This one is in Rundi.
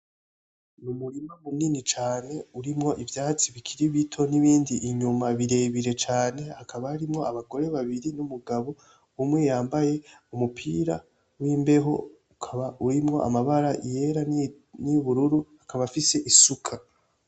Umurima munini cane urimwo ivyatsi bikiri bito n'ibindi inyuma birebire cane hakaba harimwo abagore babiri n'umugabo umwe yambaye umupira w'imbeho ukaba urimwo amabara yera n'iyubururu akaba afise isuka.